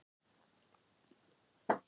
Að það væri ekki allt með felldu.